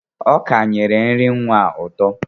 Ọka nyere nri nwa a ụtọ.